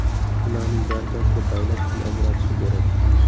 Bularning barchasiga davlat pul ajratishi kerak.